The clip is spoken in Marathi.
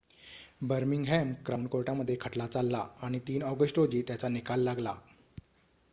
बर्मिंगहॅम क्राउन कोर्टामध्ये खटला चालला आणि ३ ऑगस्ट रोजी त्याचा निकाल लागला